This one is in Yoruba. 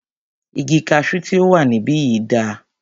Igi kaṣu tí o wà níbìyí dà?